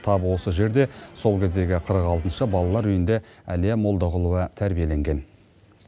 тап осы жерде сол кездегі қырық алтыншы балалар үйінде әлия молдағұлова тәрбиеленген